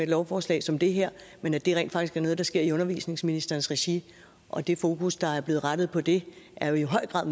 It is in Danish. lovforslag som det her men at det rent faktisk er noget der sker i undervisningsministerens regi og det fokus der er blevet rettet på det er jo i høj grad